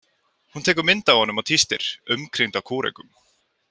Hún tekur mynd af honum og tístir: umkringd af kúrekum.